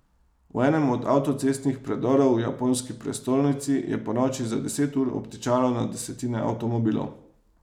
V enem od avtocestnih predorov v japonski prestolnici je ponoči za deset ur obtičalo na desetine avtomobilov.